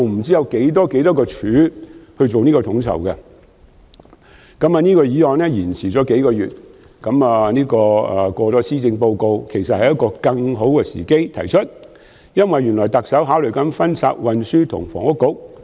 雖然這項議案延擱了數個月，要在施政報告發表後才能討論，但現在其實是更好的時機，因為特首亦正考慮分拆運輸及房屋局。